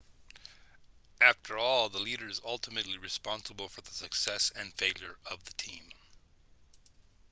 after all the leader is ultimately responsible for the success and failure of the team